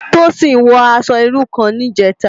Tosin wò aṣò irú kán nijètá